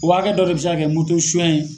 U hakɛ dɔ de bɛ se ka kɛ moto suɲɛ ye.